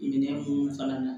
Minɛn ko fana na